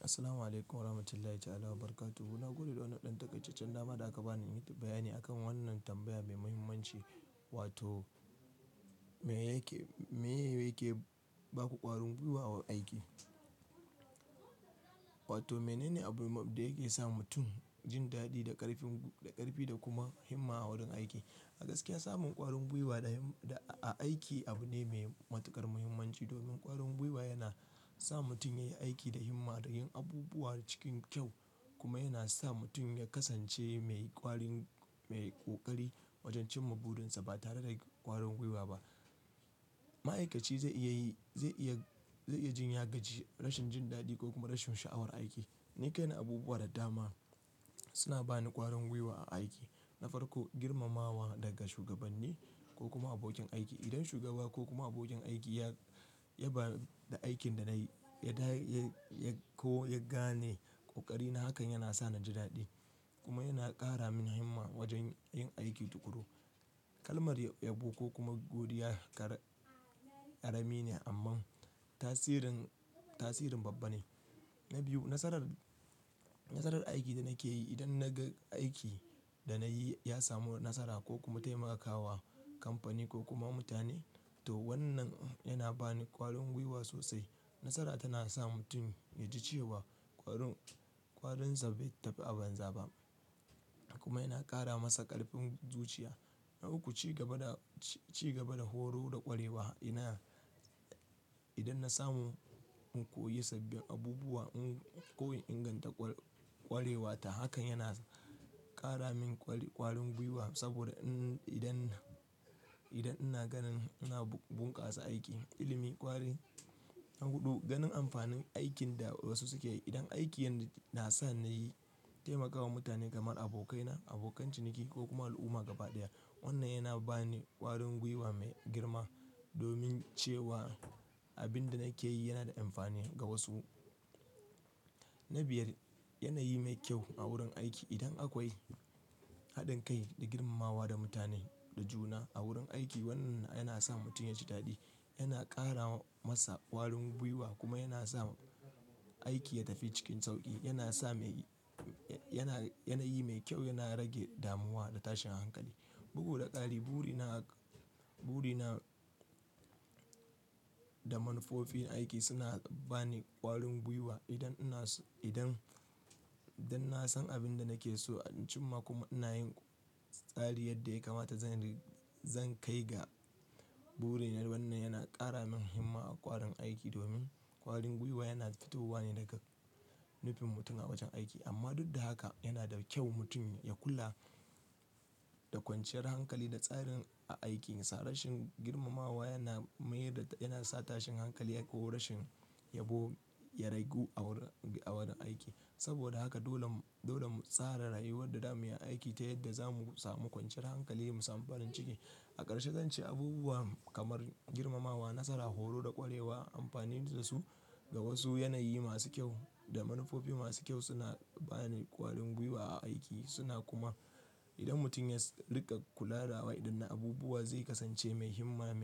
Assalamu alaikum wa rahmatullahi ta'ala wa barakatuhu. To na gode da wanan ɗan takaitaccen dama da aka bani in yi bayani akan wannan tambaya mai muhimmanci. Wato me yake, meye yake baku ƙwarin gwiwa aiki. Wato menene abun da yake sa mutum jin daɗi da ƙarfi da ƙarfi da kuma himma a wurin aiki. A gaskiya samun ƙwarin gwiwa da a aiki abu ne mai matuƙar muhimmanci. Domin ƙwarin gwiwa yana sa mutum ya yi aiki da himma da yin abubuwa cikin kyau kuma yana sa mutum ya kasance mai ƙwarin, mai ƙoƙari wajen cin ma burinsa. Ba tare da ƙwarin gwiwa ba ma'aikaci zai iya yi, zai iya, zai iya jin ya gaji, rashin jin daɗi ko kuma rashin sha'awar aiki. Ni kaina abubuwa da dama suna bani ƙwarin gwiwa a aiki. Na farko, girmamawa daga shugabanni ko kuma abokin aiki. Idan shugaba ko kuma abokin aiki ya, ya ba da aikin da na yi, ya da ko ya gane kokarina hakan yana sa ni jin daɗi kuma yana ƙara min himma wajen yin aiki tukuru. Kalmar yabo ko kuma godiya ƙarami ne amma tasirin, tasirin babba ne. Na biyu, nasarar, nasarar aikin da nake yi. Idan na ga aiki da na yi ya samu nasara ko kuma taimaka wa kamfani ko kuma mutane to wannan yana bani ƙwarin gwiwa sosai. Nasara tana sa mutum ya ji cewa ƙwarin, ƙwarinsa bai tafi a banza ba kuma yana ƙara masa ƙarfin zuciya. Na uku, ci gaba da, ci gaba da horo da ƙwarewa. Ina, idan na samu in koyi sabbin abubuwa, in koyi inganta ƙwarewata hakan yana ƙara min ƙwarin gwiwa. Saboda in idan, idan ina ganin ina bunkasa aiki, ilimi, ƙwari. Na huɗu, ganin amfanin aikin da wasu suke yi. Idan aikin na sa nayi taimakawa mutane kamar abokaina, abokan ciniki ko kuma al'umma gaba ɗaya, wannan yana bani ƙwarin gwiwa mai girma. Domin cewa abin da nake yi yana da amfani ga wasu. Na biyar, yanayi mai kyau a wurin aiki. Idan akwai haɗin kai da girmamawa da mutane da juna a wurin aiki, wannan yana sa mutum ya ji daɗi. Yana ƙara masa ƙwarin gwiwa kuma yana sa aiki ya tafi cikin sauƙi. Yana sa, yana, yanayi mai kyau, yana rage damuwa da tashin hankali. Bugu da ƙari, buri na, buri na da manufofin aiki suna bani ƙwarin gwiwa. Idan ina, idan, idan na san abin da nake so anjima kuma ina yin tsari yadda ya kamata zan, zan kai ga burina wannan yana ƙara min himma a ƙwarin aiki. Domin ƙwarin gwiwa yana fitowa ne daga nufin mutum a wajen aiki amma duk da haka yana da kyau mutum ya kula da kwanciyar hankali da tsarin aiki. Sa rashin girmamawa yana mayar, yana sa tashin hankali ko rashin yabo ya ragu a wurin, a wurin aiki. Saboda haka dole, dole mu tsara rayuwar da zamu yi aiki ta yadda za mu sami kwanciyar hankali mu samu farin ciki. A ƙarshe zan ce abubuwa kamar girmamawa, nasara, horo da ƙwarewa, amfanin da su ga wasu, yanayi masu kyau da manufofi masu kyau suna bani ƙwarin gwiwa a aiki. Suna kuma idan mutum ya riƙa kula da waɗannan abubuwa zai kasance mai himma,